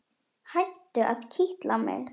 Hættu að kitla mig.